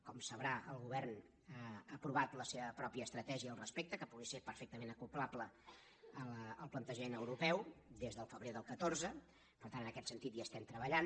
com sabrà el govern ha aprovat la seva pròpia estratègia al respecte que pugui ser perfectament acoblable al plantejament europeu des del febrer del catorze per tant en aquest sentit hi estem treballant